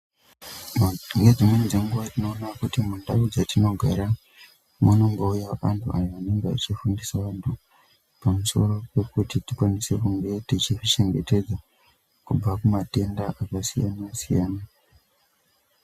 Ngedzimweni dzenguwa tiñoona kuti mundau dzatinogara munombouya antu ayo anenga achifundisa antu pamusoro Pekuti tikwanise kunge tichizvichengetedza kubva kumatenda akasiyana siyana.